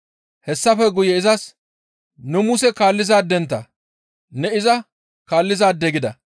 Hessafe guye izas, «Nu Muse kaallizaadentta; ne iza kaallizaade gida.